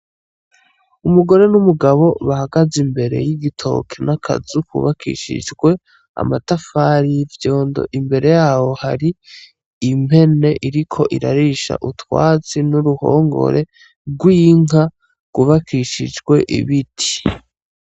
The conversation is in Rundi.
Umugore n'umugabo bahagaze imbere y'igitoke n'akazu kubakishijwe amatafari y'ivyondo. Imbere yaho hari impene iriko irarisha utwatsi n'uruhongore rwubakishijwe ibiti.